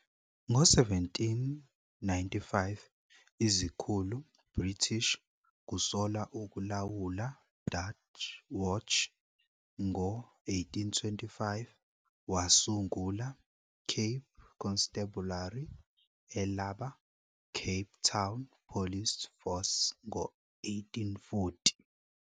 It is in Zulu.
Ngo 1795, izikhulu British Kusolwa ukulawula Dutch Watch, ngo-1825 wasungula Cape Constabulary, elaba Cape Town Police Force ngo-1840.